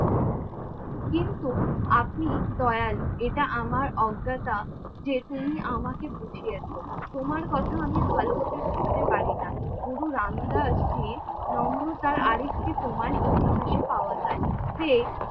কিন্তু আপনি দয়ালু এটা আমার অজ্ঞতা যে তুমি আমাকে বুঝিয়েছো। তোমার কথা আমি ভালো ভাবে বুঝতে পারিনা। গুরুরাম দাস জীর নম্রতার আর একটি প্রমান ইতিহাসে পাওয়া যায়। যে